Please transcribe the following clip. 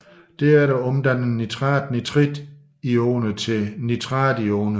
Derefter omdanner nitrat nitritioner til nitrationer